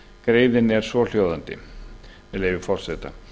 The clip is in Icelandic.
greinin er svohljóðandi með leyfi forseta